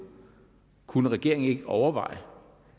kunne regeringen ikke overveje